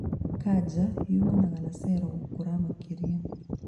Kanja yũmanaga na cero gũkũra makĩria